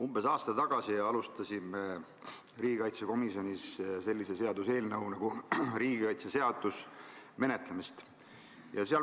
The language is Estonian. Umbes aasta tagasi alustasime riigikaitsekomisjonis sellise seaduseelnõu nagu riigikaitseseadus menetlemist.